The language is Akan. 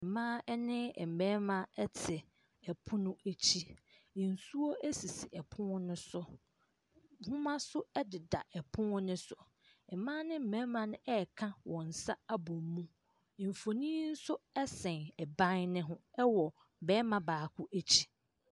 Mmaa ne mmarima ete 3pono akyi , nsuo asisi 3pono no so , boma so 3deda 3pono no so , mmaa ne mmarima reka w)n nsa ab) mu , mfonyini nso 3s3n 3ban ho 3w) barima baako akyi.